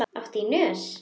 Áttu í nös?